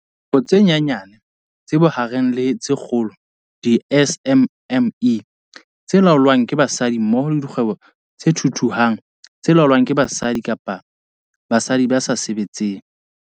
Dikgwebo tse Nyanyane, tse Bohareng le tse Kgolo, di-SMME, tse laolwang ke basadi mmoho le dikgwebo tse thuthuhang tse laolwang ke basadi kapa tsa basadi ba sa se-betseng.